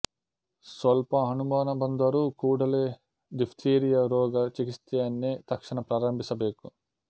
ಸ್ವಲ್ಪ ಅನುಮಾನ ಬಂದರೂ ಕೂಡಲೇ ಡಿಫ್ತೀರಿಯ ರೋಗ ಚಿಕಿತ್ಸೆಯನ್ನೇ ತಕ್ಷಣ ಪ್ರಾರಂಭಿಸಬೇಕು